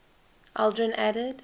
aldrin added